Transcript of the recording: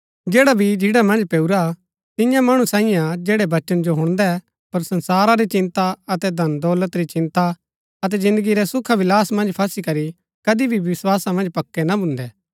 जैडा बी झिन्ड़ा मन्ज पैऊरा तियां मणु सांईयै हा जैड़ै वचन जो हुणदै पर संसारा री चिन्ता अतै धनदौलत री चिन्ता अतै जिन्दगी रै सुखाविलास मन्ज फसी करी कदी भी विस्‍वासा मन्ज पक्कै ना भून्दै